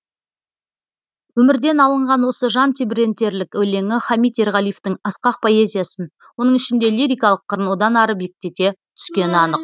өмірден алынған осы жан тебірентерлік өлеңі хамит ерғалиевтің асқақ поэзиясын оның ішінде лирикалық қырын одан ары биіктете түскені анық